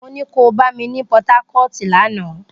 Mo ní ko bá mi ní Port Harcourt lánàá!